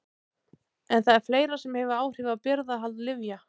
En það er fleira sem hefur áhrif á birgðahald lyfja.